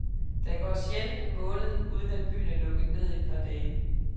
Der går sjældent en måned, uden at byen er lukket ned i et par dage.